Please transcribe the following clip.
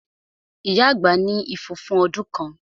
Ìyá àgbà ní ifo fún ọdún kan